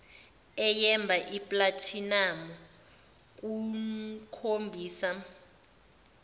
eyemba iplathinamu kokhombisa